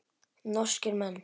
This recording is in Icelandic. Norskir menn.